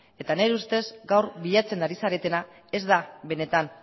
eta nire ustez gaur bilatzen ari zaretena ez da benetan